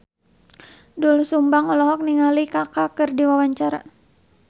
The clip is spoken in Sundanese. Doel Sumbang olohok ningali Kaka keur diwawancara